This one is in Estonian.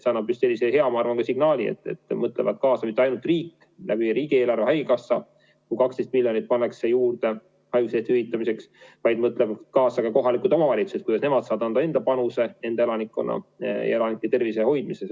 See annab sellise hea signaali, et mõeldakse kaasa, et mitte ainult riik ei panusta riigieelarve kaudu, pannes haigekassasse juurde 12 miljonit haiguspäevade hüvitamiseks, vaid mõtlevad kaasa ka kohalikud omavalitsused, kuidas nemad saavad anda enda panuse oma elanikkonna tervise hoidmisel.